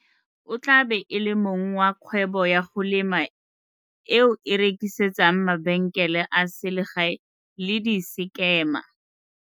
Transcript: O tla be e le mong wa kgwebo ya go lema eo e rekisetsang mabenkele a selegae le disekema.